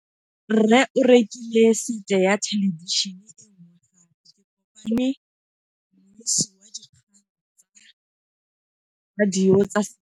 Rre o rekile sete ya thêlêbišênê e nngwe gape. Ke kopane mmuisi w dikgang tsa radio tsa Setswana.